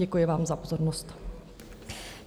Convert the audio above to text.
Děkuji vám za pozornost.